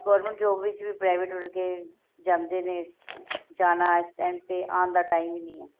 government job ਵਿੱਚ ਵੀ private ਵਰਗੇ ਜਾਂਦੇ ਨੇ ਜਾਣਾ ਇਸ time ਤੇ ਆਉਣ ਦਾ time ਹੀ ਨਹੀਂ